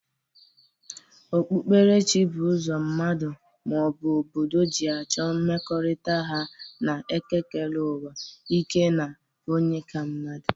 Okpukperechi bụ ụzọ mmadu, ma ọ bụ obodo ji achọ mmekọrịta ha na ekekereuwa, ike na onye ka mmadu.